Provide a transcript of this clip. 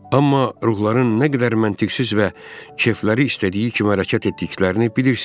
Amma ruhların nə qədər məntiqsiz və kefləri istədiyi kimi hərəkət etdiklərini bilirsiz.